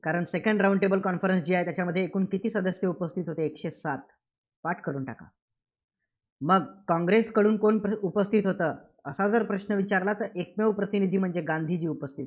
कारण second round tabel conference जी आहे, त्याच्यामध्ये एकूण किती सदस्य उपस्थित होते, एकशे सात. पाठ करून टाका. मग काँग्रेसकडून कोणकोण उपस्थितीत होतं? असा प्रश्न जर विचारला तर एकमेव प्रतिनिधी म्हणजे गांधीजी उपस्थितीत होते.